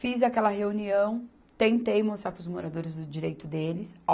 Fiz aquela reunião, tentei mostrar para os moradores o direito deles.